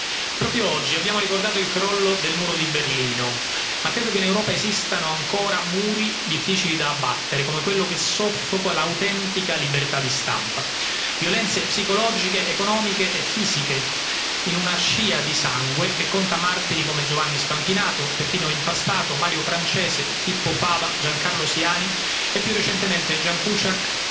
Signora Presidente, onorevoli colleghi, proprio oggi abbiamo ricordato il crollo del muro di Berlino, ma credo che in Europa esistano ancora muri difficili da abbattere come quello che soffoca l'autentica libertà di stampa. Violenze psicologiche, economiche e fisiche in una scia di sangue che conta martiri come Giovanni Spampinato, Peppino Impastato, Mario Francese, Pippo Fava, Giancarlo Siani e più recentemente Ján Kuciak,